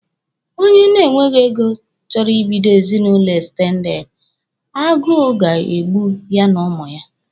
Onye na-enweghi ego chọrọ Ị bido ezinụlọ ekstendede, agụụ ga-egbu ya na ụmụ ya.